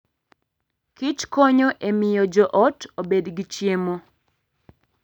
Kich konyo e miyo joot obed gi chiemo.